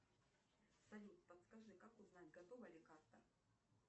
салют подскажи как узнать готова ли карта